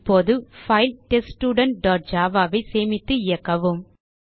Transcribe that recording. இப்போது file test student dot javaஐ சேமித்து இயக்கவும்